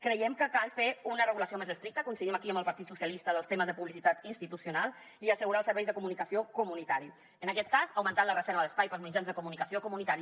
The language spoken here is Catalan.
creiem que cal fer una regulació més estricta coincidim aquí amb el partit dels socialistes dels temes de publicitat institucional i assegurar els serveis de comunicació comunitari en aquest cas augmentant la reserva d’espai per als mitjans de comunicació comunitaris